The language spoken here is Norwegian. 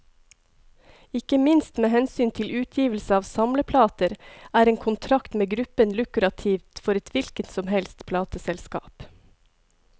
Ikke minst med hensyn til utgivelse av samleplater, er en kontrakt med gruppen lukrativt for et hvilket som helst plateselskap.